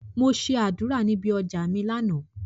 Mo ṣe àdúrà níbi ọjà mi lánàá.